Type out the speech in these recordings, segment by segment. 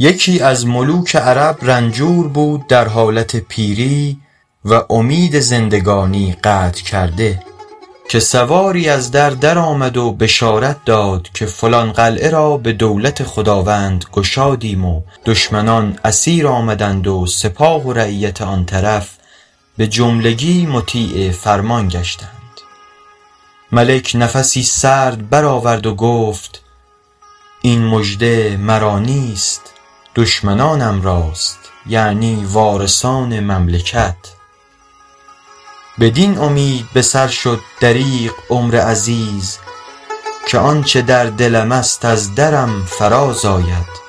یکی از ملوک عرب رنجور بود در حالت پیری و امید زندگانی قطع کرده که سواری از در درآمد و بشارت داد که فلان قلعه را به دولت خداوند گشادیم و دشمنان اسیر آمدند و سپاه و رعیت آن طرف به جملگی مطیع فرمان گشتند ملک نفسی سرد بر آورد و گفت این مژده مرا نیست دشمنانم راست یعنی وارثان مملکت بدین امید به سر شد دریغ عمر عزیز که آنچه در دلم است از درم فراز آید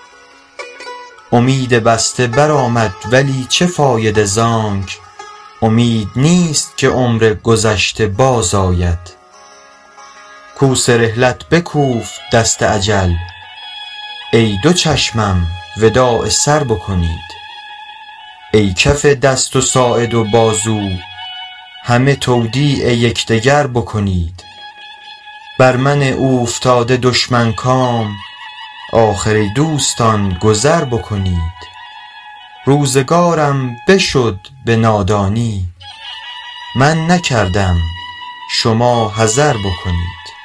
امید بسته بر آمد ولی چه فایده زانک امید نیست که عمر گذشته باز آید کوس رحلت بکوفت دست اجل ای دو چشمم وداع سر بکنید ای کف دست و ساعد و بازو همه تودیع یکدگر بکنید بر من اوفتاده دشمن کام آخر ای دوستان گذر بکنید روزگارم بشد به نادانی من نکردم شما حذر بکنید